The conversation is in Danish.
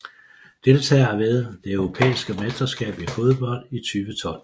Deltagere ved det europæiske mesterskab i fodbold 2012